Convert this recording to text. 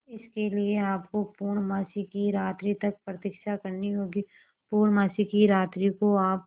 इसके लिए आपको पूर्णमासी की रात्रि तक प्रतीक्षा करनी होगी पूर्णमासी की रात्रि को आप